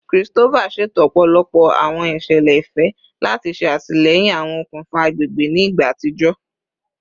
Christopher ṣeto ọpọlọpọ awọn iṣẹlẹ ifẹ lati ṣe atilẹyin awọn okunfa agbegbe ni igba atijọ